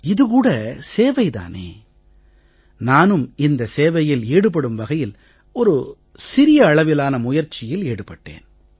இது கூட சேவை தானே நானும் இந்த சேவையில் ஈடுபடும் வகையில் ஒரு சிறிய அளவிலான முயற்சியில் ஈடுபட்டேன்